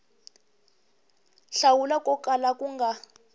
hlawula ko kala ku nga